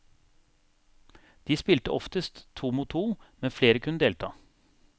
De spilte oftest to mot to, men flere kunne delta.